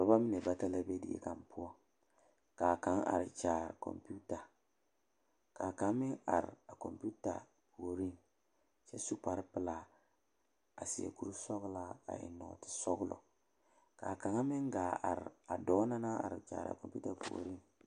Dɔba mine bata la be die poɔ ka kaŋ a are kyaare kɔmpeta ka kaŋ meŋ are a kɔmpeta puoriŋ kyɛ su kparepelaa a seɛ kurisɔglaa a eŋ nɔɔtesɔglɔ k,a kaŋa meŋ gaa are a dɔɔ na naŋ are kyaare kɔmpeta puoriŋ.